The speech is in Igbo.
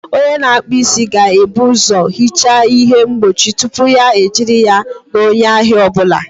Onye na-akpụ isi ga-ebu ụzọ hichaa ihe mgbochi tupu ya ejiri ya na onye ahịa ọ bụla